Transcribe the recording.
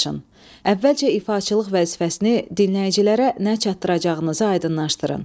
Əvvəlcə ifaçılıq vəzifəsini dinləyicilərə nə çatdıracağınızı aydınlaşdırın.